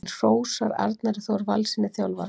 Hann hrósar Arnari Þór Valssyni þjálfara.